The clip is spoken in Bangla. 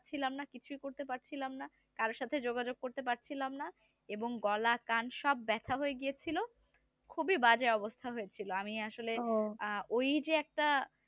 কিছুই করতে পারছিলাম না কারো সাথে যোগাযোগ করতে পারছিলাম না এবং গলা কান সব ব্যথা হয়ে গিয়ে ছিল খুবই বাজে অবস্থা হয়েছিল আমি আসলে ওই যে একটা